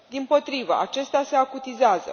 Dimpotrivă, acestea se acutizează.